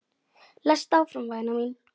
Lestu áfram væna mín!